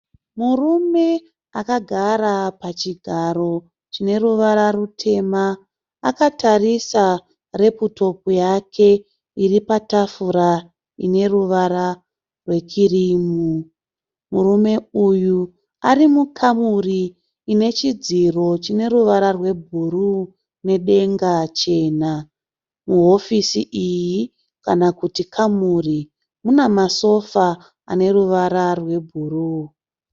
Murume akagara pachigaro chine ruvara rutema, akatarisa reputopu yake iri patafura ine ruvara rwekirimu. Murume uyu ari mukamuri ine chidziro chine ruvara rwebhuruu nedenga chena. Muhofisi iyi kana kuti kamuri muna masofa ane ruvara rwebhuruu.